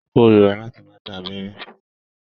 Mo kórira láti máa gbà abẹ́rẹ́.